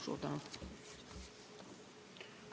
Suur tänu!